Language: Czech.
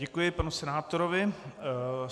Děkuji panu senátorovi.